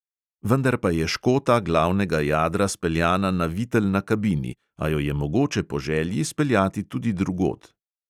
Vendar pa je škota glavnega jadra speljana na vitel na kabini, a jo je mogoče po želji speljati tudi drugod.